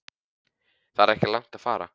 Það er ekki langt að fara.